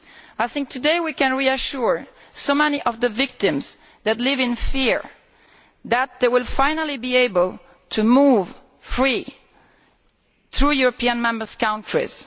I think today we can reassure many of the victims who live in fear that they will finally be able to move freely through the Member States.